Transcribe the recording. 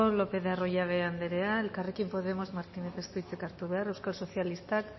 lopez de arroyabe anderea elkarrekin podemos martínez jaunak ez du hitzik hartu behar euskal sozialistak